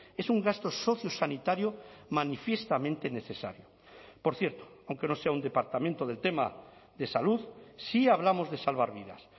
es un gasto socio sanitario manifiestamente necesario por cierto aunque no sea un departamento del tema de salud sí hablamos de salvar vidas